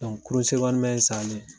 kurun IN sannen